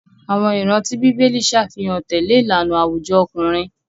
Àwọn ìran tí bíbélì ṣàfihàn tẹlẹ ìlànà àwùjọ ọkùnrin.